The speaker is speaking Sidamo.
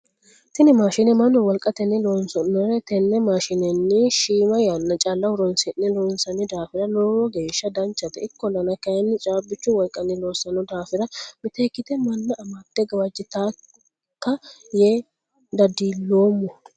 Tinni maashine mannu wolqatenni loosanore tenne maashinenni Shima yanna calla horoonsi'ne loonsanni daafira logeesha danchate ikolanna kayinni caabichu walqanni loosano daafira miteekite manna amade gawajitaka yee dadiloomo.